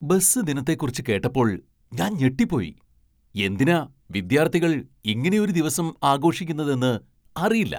Bus ദിനത്തെക്കുറിച്ച് കേട്ടപ്പോൾ ഞാൻ ഞെട്ടിപ്പോയി, എന്തിനാ വിദ്യാർത്ഥികൾ ഇങ്ങനെയൊരു ദിവസം ആഘോഷിക്കുന്നതെന്ന് അറിയില്ല.